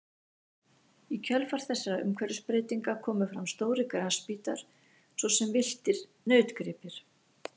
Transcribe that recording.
Í kjölfar þessara umhverfisbreytinga komu fram stórir grasbítar svo sem villtir nautgripir.